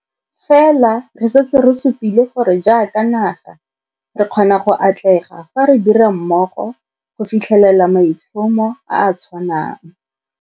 Fela re setse re supile gore jaaka naga, re kgona go atlega fa re dira mmogo go fitlhelela maitlhomo a a tshwanang.